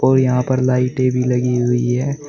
और यहां पर लाइटें भी लगी हुई है।